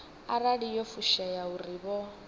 arali yo fushea uri vho